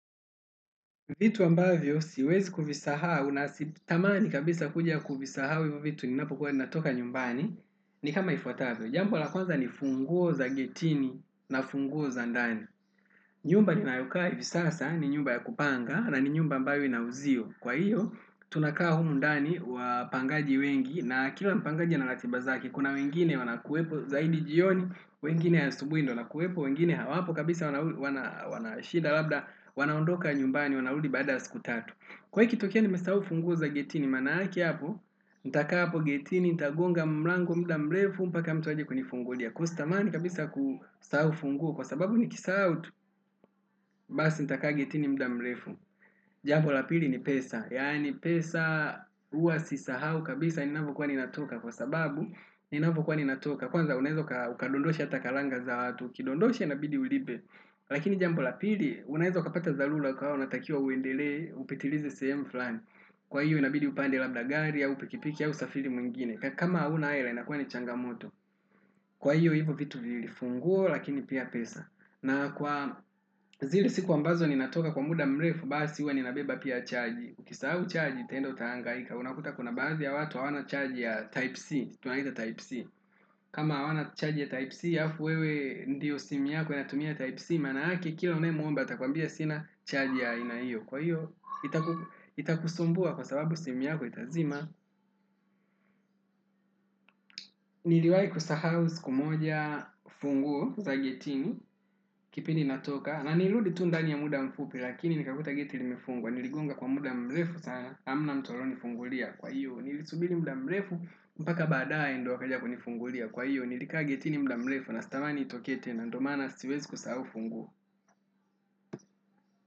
Vitu ambavyo siwezi kuvisahau na sitamani kabisa kuja kuvisahau hivo vitu ninapokuwa ninatoka nyumbani ni kama ifuatavyo. Jambo la kwanza ni funguo za getini na funguo za ndani. Nyumba ninayo kaa hivi sasa ni nyumba ya kupanga na ni nyumba ambayo inauzio. Kwa hiyo, tunakaa humu ndani wapangaji wengi na kila mpangaji ana ratiba zake. Kuna wengine wanakuwepo zaidi jioni, wengine asubuhi ndio wanakuwepo, wengine hawapo kabisa wanashida. Labda wanaondoka nyumbani, wanarudi baada ya siku tatu. Kwa hio ikitokea nimesahau funguo za getini, maanake hapo, nitakaa hapo getini, nitagonga, mlango, muda mrefu, mpaka mtu aje kunifungulia. Kuwa sitamani kabisa kusahau ufunguo kwa sababu nikisahau tu, basi nitakaa getini muda mrefu. Jambo la pili ni pesa, yaani pesa huwa sisahau kabisa, ninavokuwa ninatoka kwa sababu, ninavo kuwa ninatoka. Kwanza unaeza ukadondosha hata kalanga za watu, ukidondosha inabidi ulipe. Lakini jambo la pili unaeza ukapata dharura ukawa unatakiwa uendelee upitilize sehemu fulani kwa hiyo inabidi upande gari au pikipiki au safiri mwingine kama huna hela inakuwa ni changamoto kwa hiyo hivo vitu viwili funguo lakini pia pesa na kwa zile siku ambazo ninatoka kwa muda mrefu basi huwa ninabeba pia chaji ukisahau au chaji utaenda utahangaika unakuta kuna baadhi ya watu hawana chaji ya type C kama hawana charge ya type C alafu wewe ndio simu yako inatumia type C, maanake kila unaemuomba atakuambia sina charge ya aina hiyo kwa hiyo, itakusumbua kwa sababu simu yako itazima niliwai kusahau siku moja funguo za getini kipindi natoka, na nilirudi tu ndani ya muda mfupi, lakini nikakuta geti limefungwa, niligonga kwa muda mrefu sana hamna mtu aliyonifungulia kwa iyo nilisubiri muda mrefu, mpaka baadae ndo wakaja kunifungulia kwa iyo nilikaa getini muda mrefu, na sitamani itokee tena ndo maana siwezi kusahau ufunguo.